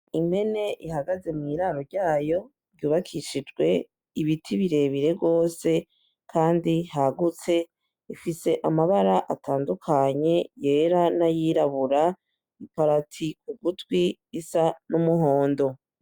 Impene ihagaze mw'iraro ryayo ryubakishijwe ibiti birebire gose kandi hagutse, ifise amabara atandukanye yera n'ayirabura, iparati k'ugutwi isa n'umuhondo.